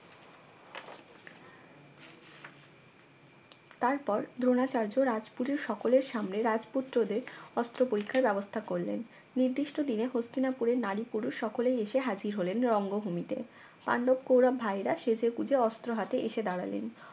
তারপর দ্রোণাচার্য রাজপুরীর সকলের সামনে রাজপুত্রদের অস্ত্র পরীক্ষার ব্যবস্থা করলেন নির্দিষ্ট দিনে হস্তিনাপুরের নারী পুরুষ সকলেই এসে হাজির হলেন রঙ্গভূমিতে পাণ্ডব কৌরব ভাইয়েরা সেজেগুজে অস্ত্র হাতে এসে দাঁড়ালেন